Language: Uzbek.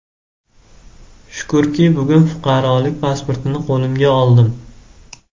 Shukrki, bugun fuqarolik pasportini qo‘limga oldim.